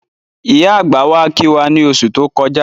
Ìyá àgbà wá kí wá ní oṣù tó kọjá